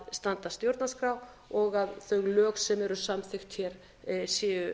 standast stjórnarskrá og að þau lög sem eru samþykkt hér séu